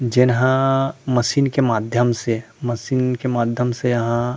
जेन्हा machine के माध्यम से मशीन के माध्यम से यहाँ--